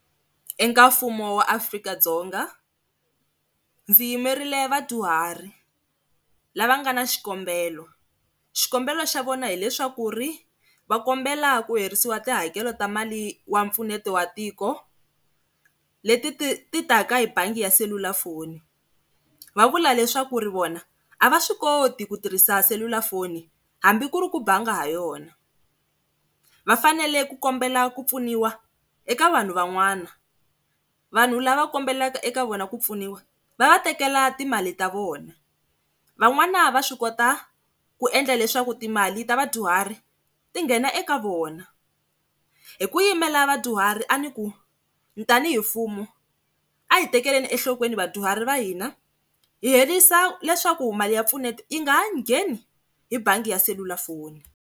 Eka mfumo wa Afrika-Dzonga ndzi yimerile vadyuhari lava nga na xikombelo, xikombelo xa vona hileswaku va kombela ku herisiwa tihakelo ta mali wa mpfuneto wa tiko, leti ti ti taka hi bangi ya selulafoni va vula leswaku vona a va swi koti ku tirhisa selulafoni hambi ku ri ku banga ha yona, vafanele ku kombela ku pfuniwa eka vanhu van'wana. Vanhu lava kombelaka eka vona ku pfuniwa va va tekela timali ta vona. Van'wana va swi kota ku endla leswaku timali ta vadyuhari ti nghena eka vona. Hi ku yimela vadyuhari a ni ku tanihi mfumo a hi tekeleni enhlokweni vadyuhari va hina hi herisa leswaku mali ya mpfuneto yi nga ha ngheni hi bangi ya selulafoni.